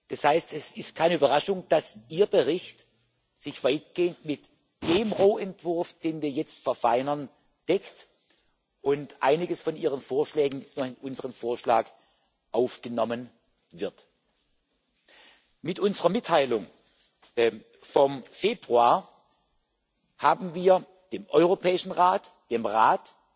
Das heißt Es ist keine Überraschung, dass sich Ihr Bericht weitgehend mit dem Rohentwurf, den wir jetzt verfeinern, deckt und einiges von Ihren Vorschlägen in unseren Vorschlag aufgenommen wird. Mit unserer Mitteilung vom Februar haben wir versucht, dem Europäischen Rat, dem Rat,